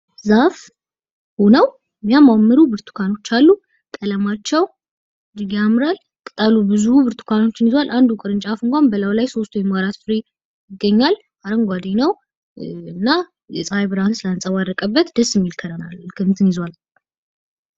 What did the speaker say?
ዛፍ ሆነው የሚያማምሩ ብርቱካኖች አሉ ቀለማቸው እጅግ ያምራል። ቀጥሉ ብዙ ብርቱካኖች እንኳን አንዱ ቅርንጫፍ እንኳን ብለው ላይ ሦስት ወይም 4 ዛሬ እኛን አረንጓዴ ነው እና የፀሐይ ብርሃን ስለአንጸባረቀበት ደስ የሚል እለር አለው።.